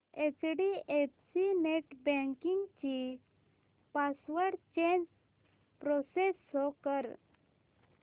HDFC net banking ची password change process show कर